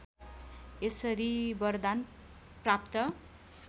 यसरी वरदान प्राप्त